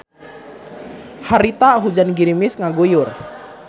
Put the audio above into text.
Harita hujan girimis ngaguyur.